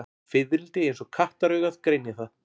Fiðrildi eins og kattaraugað greinir það.